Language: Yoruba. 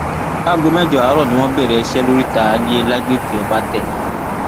láago mẹjọ àárọ ni wọn bẹrẹ iṣẹ lóríta alie lágbègbè ọbatẹ